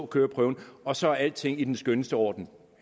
køreprøven og så er alting i den skønneste orden